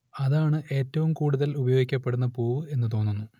അതാണ് ഏറ്റവും കൂടുതൽ ഉപയോഗിക്കപ്പെടുന്ന പൂവ് എന്നു തോന്നുന്നു